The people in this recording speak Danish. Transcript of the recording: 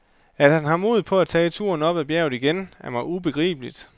At han har mod på at tage turen op ad bjerget igen, er mig ubegribeligt.